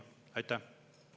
Aitäh!